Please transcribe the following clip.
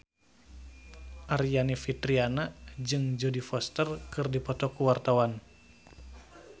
Aryani Fitriana jeung Jodie Foster keur dipoto ku wartawan